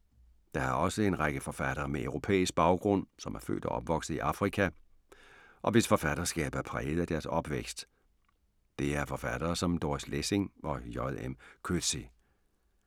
Der er også en række forfattere med europæisk baggrund, som er født og opvokset i Afrika, og hvis forfatterskab er præget af deres opvækst. Det er forfattere som Doris Lessing og J. M. Coetzee.